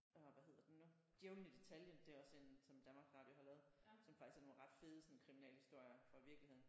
Åh hvad hedder den nu? Djævlen i detaljen det er også en som Danmarks Radio har lavet som faktisk er nogle ret fede sådan kriminalhistorier fra virkeligheden